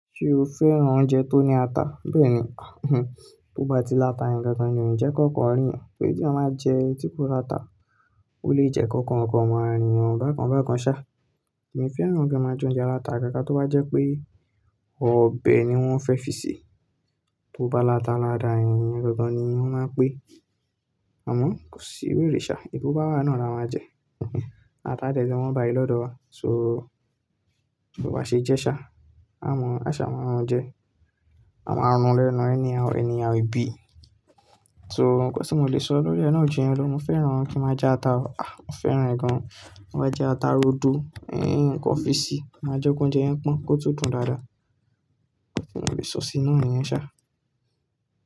Ṣé o fẹ́ran oúnjẹ tó ní ata? Bẹ́ẹ̀ni, bó bá ti láta ni gangan ò ní jẹ́ kó kan àríyàn, tò tí ẹ máa jẹ ẹtí tó láta, ó lè jẹ́ kó kan kan máa rí ọ bàkan bàkan sá. Èmi fẹ́ran kí wọ́n máa jẹ oúnjẹ aláta agaga, tó bá jẹ́ pé ọbẹ̀ ni wọ́n fẹ́ fi sè, tó bá láta láda, ẹ̀yin gangan ni wọ́n máa ń pè. Àmọ́ kò sí ìwé ìrìṣà, ìbú bá wà náà ni a máa jẹ. Ata tẹ́tẹ́ tí wọ́n bá yí lọ́dọ̀ wá, so bó bá ṣe jẹ́ ṣá, a mọ̀, a ṣá máa wọn jẹ. A máa ronú lẹ́nu rẹ̀ ní àwọn ènìyàn ibi. So nnkan tí mo lè sọ lórí ẹ náà ju yẹn lọ, mo fẹ́ran kí wọ́n máa jẹ ata, ah mo fẹ́ẹ́ràn rẹ̀ gan. Wọ́n máa jẹ ata rodo, ẹ́yin, nnkan fi sè, máa jẹ́ kó jẹ́ ẹ́ pọn, kó tó dùn dáadáa. Kí ni mo lè sọ sí i náà, niyẹn ṣá?